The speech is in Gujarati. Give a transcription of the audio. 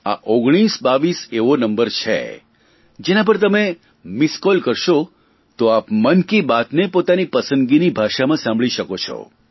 આ ઓગણીસો બાવીસ એવો નંબર છે જેના પર તમે મીસ્ડ કોલ કરશો તો આપ મન કી બાતને પોતાની પસંદગીની ભાષામાં સાંભળી શકો છો